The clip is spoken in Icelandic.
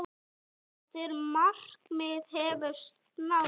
Þetta markmið hefur náðst.